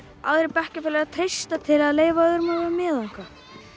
aðrir bekkjarfélagar treysta til að leyfa öðrum að vera með og eitthvað